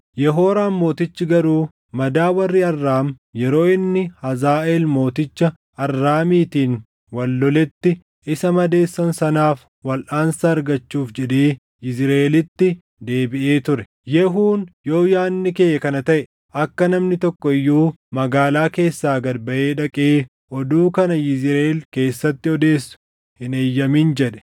Yehooraam mootichi garuu madaa warri Arraam yeroo inni Hazaaʼeel mooticha Arraamiitiin wal loletti isa madeessan sanaaf walʼaansa argachuuf jedhee Yizriʼeelitti deebiʼee ture. Yehuun, “Yoo yaadni kee kana taʼe, akka namni tokko iyyuu magaalaa keessaa gad baʼee dhaqee oduu kana Yizriʼeel keessatti odeessu hin eeyyamin” jedhe.